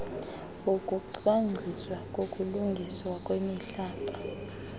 wokucwangciswa kokulungiswa kwemihlaba